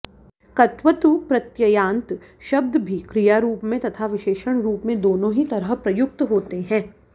क्तवतु प्रत्ययान्त शब्द भी क्रियारूप में तथा विशेषणरूप में दोनों ही तरह प्रयुक्त होते हैं